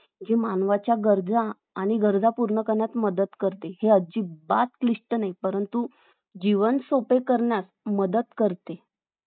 जी मानवाच्या गरजा आणि गरजा पूर्ण करण्यात मदत करते हे अजिबात क्लिष्ट नाही परंतु जीवन सोपे करण्यात मदत करते